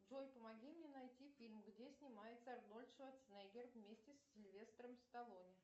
джой помоги мне найти фильм где снимается арнольд шварценеггер вместе с сильвестром сталлоне